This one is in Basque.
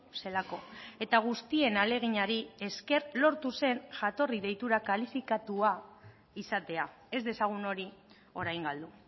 zelako eta guztien ahaleginari esker lortu zen jatorri deitura kalifikatua izatea ez dezagun hori orain galdu